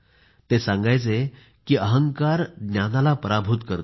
ते सांगायचे की अहंकाराच ज्ञानाला पराभूत करते